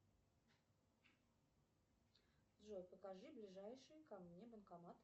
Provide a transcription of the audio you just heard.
джой покажи ближайший ко мне банкомат